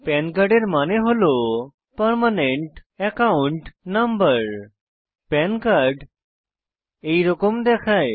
পান কার্ডের মানে হল permanent account number PAN card এইরকম দেখায়